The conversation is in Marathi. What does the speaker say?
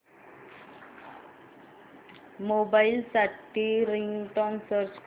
मोबाईल साठी रिंगटोन सर्च कर